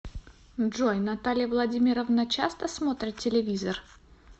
джой наталья владимировна часто смотрит телевизор